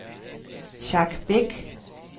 Jack Beck